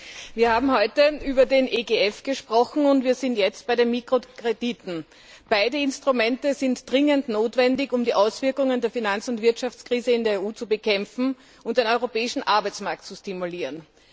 Frau Präsidentin! Wir haben heute über den EGF gesprochen, und jetzt sind wir bei den Mikrokrediten. Beide Instrumente sind dringend notwendig, um die Auswirkungen der Finanz und Wirtschaftskrise in der EU zu bekämpfen und den europäischen Arbeitsmarkt zu stimulieren.